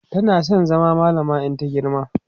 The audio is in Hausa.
tana San zama mallama in ta girma